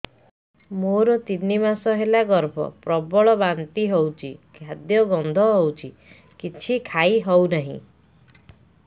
ମୋର ତିନି ମାସ ହେଲା ଗର୍ଭ ପ୍ରବଳ ବାନ୍ତି ହଉଚି ଖାଦ୍ୟ ଗନ୍ଧ ହଉଚି କିଛି ଖାଇ ହଉନାହିଁ